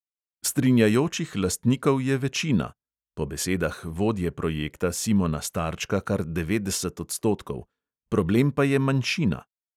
Strinjajočih lastnikov je večina (po besedah vodje projekta simona starčka kar devetdeset odstotkov), problem pa je manjšina.